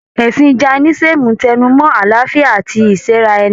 Ẹ̀sìn Jaínísìm n tẹnu mọ́ àlàáfíà àti ìsẹ́ra ẹni.